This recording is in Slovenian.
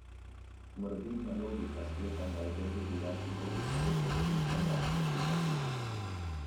Morbidna logika sklepanja o dolgi življenjski dobi pogosto dobi še mračnejši zasuk.